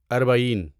اربعین